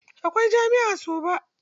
Akwai jami'a a Soba.